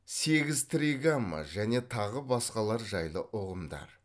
сегіз тригамма және тағы басқалар жайлы ұғымдар